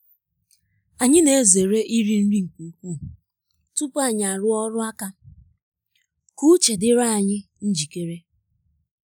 anyị na-ezere iri nri nke ukwuu tupu anyi arụọ ọrụ aka ka uche dịrị anyị njikere